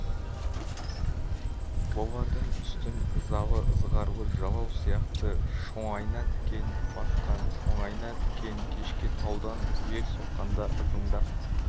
олардың үстін ызалы ызғарлы жалау сияқты шоңайна тікен басқан шоңайна тікен кешке таудан жел соққанда ызыңдап